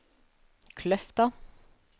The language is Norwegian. Kløfta